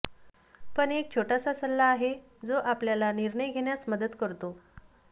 पण एक छोटासा सल्ला आहे जो आपल्याला निर्णय घेण्यास मदत करतो